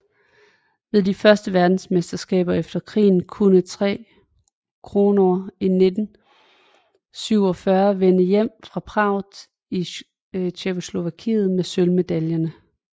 Ved de første verdensmesterskaber efter krigen kunne Tre Kronor i 1947 vende hjem fra Prag i Tjekkoslovakiet med sølvmedaljerne